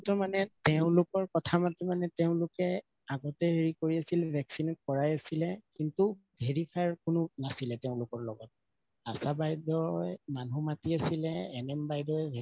ত মানে তেওঁলোকৰ কথা মতে তেওঁলোকে আগতে হেৰি কৰাই আছিলে vaccinate কৰাই আছিলে কিন্তু verifies কোনো নাছিলে তেওঁলোকৰ লগত আশা বাইদেউ মানুহ মাতি আছিলে NM বাইদেউ vaccine